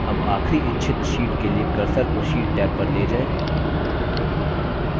tab आखरी इच्छित sheet के लिए cursor को sheet टैब पर ले जाएँ